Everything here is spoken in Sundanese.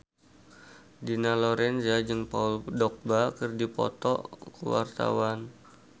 Dina Lorenza jeung Paul Dogba keur dipoto ku wartawan